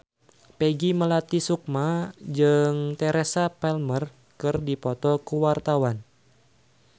Peggy Melati Sukma jeung Teresa Palmer keur dipoto ku wartawan